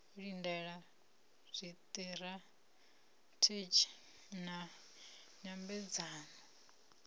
u lindela zwiṱirathedzhi na nyambedzano